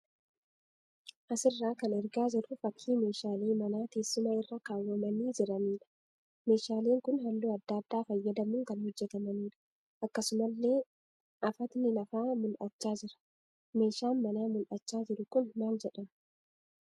Asirraa kan argaa jirru fakkii meeshaalee manaa teessuma irra kaawwamanii jiraniidha. Meeshaaleen kun halluu adda addaa fayyadamuun kan hojjetamaniidha. Akkasumallee afatni lafaa mul'achaa jira. Meeshaan manaa mul'achaa jiru kun maal jedhama?